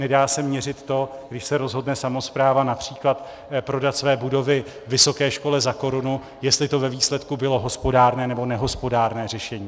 Nedá se měřit to, když se rozhodne samospráva například prodat své budovy vysoké škole za korunu, jestli to ve výsledku bylo hospodárné nebo nehospodárné řešení.